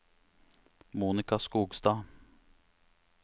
Monica Skogstad